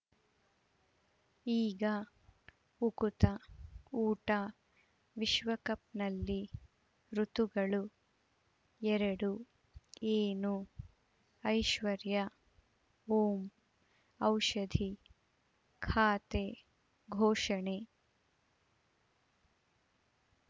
ಈಗ ಉಕುತ ಊಟ ವಿಶ್ವಕಪ್‌ನಲ್ಲಿ ಋತುಗಳು ಎರಡು ಏನು ಐಶ್ವರ್ಯಾ ಓಂ ಔಷಧಿ ಖಾತೆ ಘೋಷಣೆ